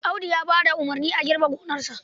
Audu ya ba da umarnin a girbe gonarsa.